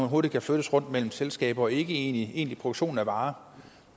hurtigt kan flyttes rundt mellem selskaber og ikke om en egentlig produktion af varer